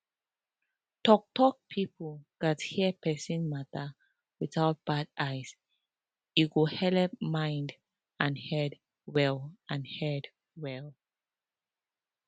talktalk people gatz hear persin matter without bad eye e go helep keep mind and head well and head well